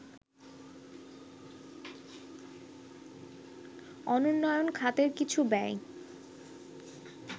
অনুন্নোয়ন খাতের কিছু ব্যয়